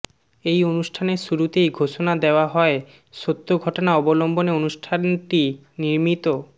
এই অনুষ্ঠানের শুরুতেই ঘোষণা দেয়া হয় সত্য ঘটনা অবলম্বনে অনুষ্ঠানটি নির্মিত